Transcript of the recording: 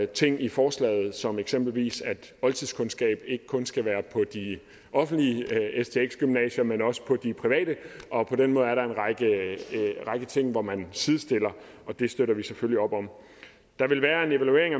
ting i forslaget som eksempelvis at oldtidskundskab ikke kun skal være på de offentlige stx gymnasier men også på de private og på den måde er der en række ting hvor man sidestiller og det støtter vi selvfølgelig op om der vil være en evaluering